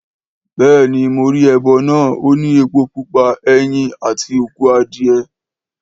Béèni mo ri ẹbọ náà, ó ní epo pupa, ẹyin, àti òkú adìe